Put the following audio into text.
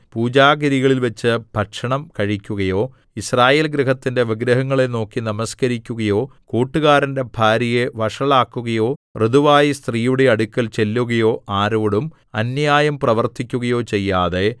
പൂജാഗിരികളിൽവച്ച് ഭക്ഷണം കഴിക്കുകയോ യിസ്രായേൽ ഗൃഹത്തിന്റെ വിഗ്രഹങ്ങളെ നോക്കി നമസ്കരിക്കുകയോ കൂട്ടുകാരന്റെ ഭാര്യയെ വഷളാക്കുകയോ ഋതുവായ സ്ത്രീയുടെ അടുക്കൽ ചെല്ലുകയോ ആരോടും അന്യായം പ്രവർത്തിക്കുകയോ ചെയ്യാതെ